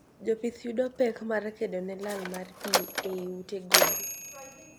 Jopith yudo pek mar kedone lal mar pii eiy ute gwen